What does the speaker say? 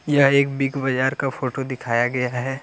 यह एक Big Bazaar का फोटो दिखाया गया है।